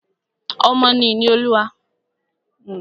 Ọmọ ni ìní Olúwa.